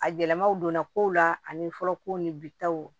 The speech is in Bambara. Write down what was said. A yɛlɛmaw donna kow la ani fɔlɔ kow ni bi taw